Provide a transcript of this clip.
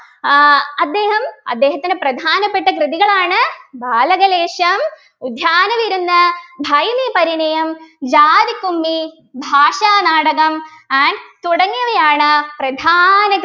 ആഹ് അദ്ദേഹം അദ്ദേഹത്തിൻ്റെ പ്രധാനപ്പെട്ട കൃതികളാണ് ബാലകലേശം ഉദ്യാനവിരുന്ന് ഭൈമീപരിണയം ജാതിക്കുമ്മി ഭാഷാനാടകം and തുടങ്ങിയവയാണ് പ്രധാന